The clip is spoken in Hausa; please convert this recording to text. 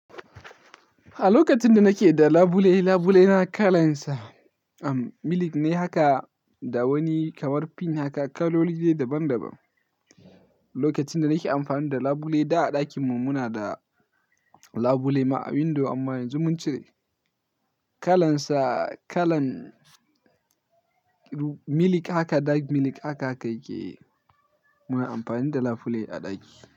A lokacin da nake da labule, labule na kalan sa milk ne haka da wani kamar pink haka, kaloli ne daban-daban. Lokacin da nake amfani da labule da a ɗakin mu muna da labule ma a window amma yanzu mun cire. Kalan sa kalan milk haka dark milk haka yake muna amfani da labule a ɗaki.